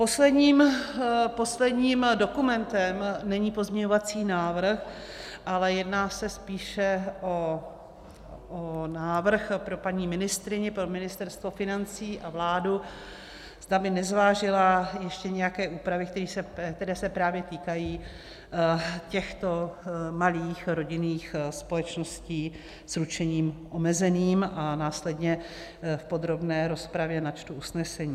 Posledním dokumentem není pozměňovací návrh, ale jedná se spíše o návrh pro paní ministryni, pro Ministerstvo financí a vládu, zda by nezvážily ještě nějaké úpravy, které se právě týkají těchto malých rodinných společností s ručením omezeným, a následně v podrobné rozpravě načtu usnesení.